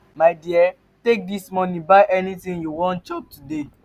my dear take dis money buy anything you wan chop today.